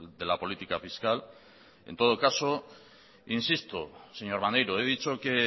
de la política fiscal en todo caso insisto señor maneiro he dicho que